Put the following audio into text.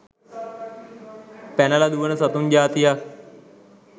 පැනල දුවන සතුන් ජාතියක්.